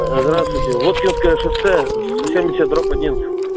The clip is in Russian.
здравствуйте воткинское шоссе сто семьдесят дробь один